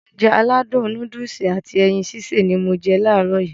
Ounjẹ aládùn nóódùsì at ẹyin sísè ni mo je làárọ̀ yii